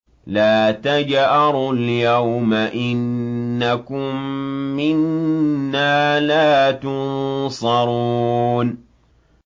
لَا تَجْأَرُوا الْيَوْمَ ۖ إِنَّكُم مِّنَّا لَا تُنصَرُونَ